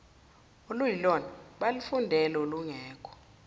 oluyilona abalufundele olungekho